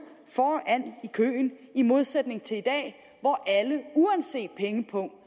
foran i køen i modsætning til i dag hvor alle uanset pengepung